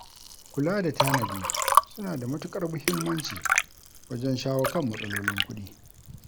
Kula da tanadi suna da matuƙar muhimmanci wajen shawo kan matsalolin kuɗi.